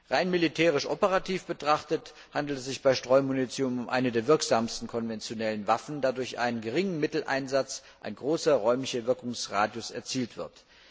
Rein militärisch operativ betrachtet, handelt es sich bei Streumunition um eine der wirksamsten konventionellen Waffen, da durch einen geringen Mitteleinsatz ein großer räumlicher Wirkungsradius erzielt wird.